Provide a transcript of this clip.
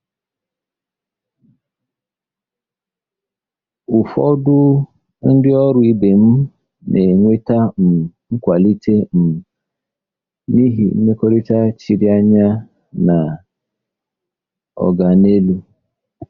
Ụfọdụ ndị ọrụ ibe m na-enweta um nkwalite um n'ihi mmekọrịta chiri anya na “oga n'elu.”